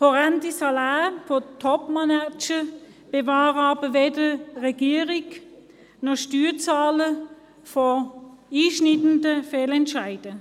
Horrende Saläre bei Topmanagern bewahren aber weder Regierung noch Steuerzahler vor einschneidenden Fehlentscheiden.